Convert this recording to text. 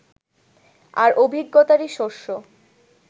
আর অভিজ্ঞতারই শস্য